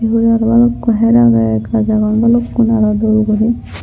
iyot aro balukko her agey gaaj agon balukkun aro dol guri.